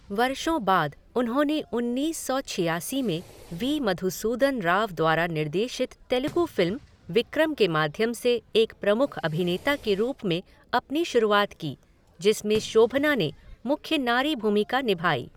वर्षों बाद उन्होंने उन्नीस सौ छियासी में वी मधुसूदन राव द्वारा निर्देशित तेलुगु फ़िल्म विक्रम के माध्यम से एक प्रमुख अभिनेता के रूप में अपनी शुरुआत की, जिसमें शोभना ने मुख्य नारी भूमिका निभाई।